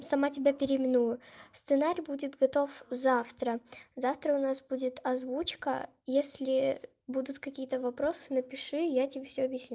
сама тебя переименую сценарий будет готов завтра завтра у нас будет озвучка если будут какие-то вопросы напиши я тебе все объясню